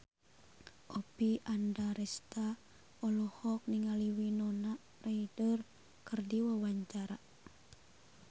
Oppie Andaresta olohok ningali Winona Ryder keur diwawancara